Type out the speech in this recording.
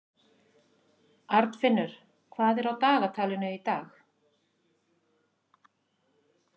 Arnfinnur, hvað er á dagatalinu í dag?